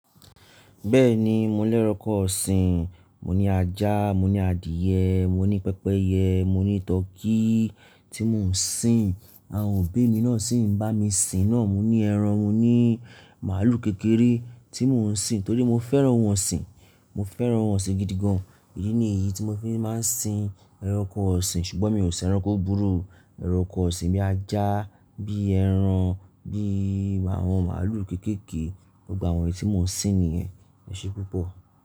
Bẹ́ẹ̀ni, mo lérọkọ ọ̀sìn. Mò ní ajá, mò ní adìẹ, mò ní pẹpẹyẹ, mò ní tọkí tí mò ń sìn. Awon obí mi náà sì ń bá mi sìn náà. Mò ní ẹran, mò ní màálù kékeré tí mò ń sìn torí mo fẹ́ràn òun ọ̀sìn. Mo fẹ́ràn ọ̀sìn gidi gan-an. Èyí ni èyí tí mo fi máa ń sìn ẹranko ọ̀sìn. Ṣùgbọ́n mi ò sìn ẹranko búburú. Ẹranko ọ̀sìn bí ajá, bí ẹran, bí àwọn màálù kéékèèké. Gba àwọn èyí tí mò ń sìn nìyẹn. Ẹ̀ṣẹ́ púpọ̀.